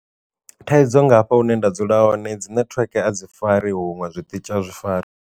Thaidzo nga hafha hune nda dzula hone dzi network a dzi fari huṅwe zwiṱitshi a zwi fari.